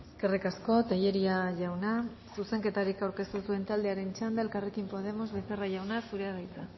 eskerrik asko tellería jauna zuzenketarik aurkeztu ez duen taldearen txanda elkarrekin podemos becerra jauna zurea da hitza